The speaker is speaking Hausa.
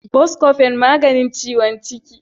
Buscofen magani ciwon ciki.